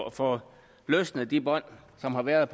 at få løsnet de bånd der har været